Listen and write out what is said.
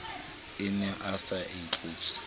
ne a se a tlotse